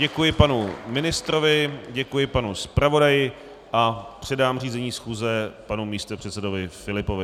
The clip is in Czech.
Děkuji panu ministrovi, děkuji panu zpravodaji a předám řízení schůze panu místopředsedovi Filipovi.